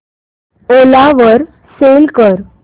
ओला वर सेल कर